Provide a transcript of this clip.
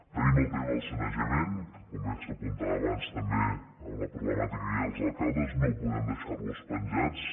tenim el tema del sanejament que com bé s’apuntava abans també amb la problemàtica que hi ha dels alcaldes no podem deixar los penjats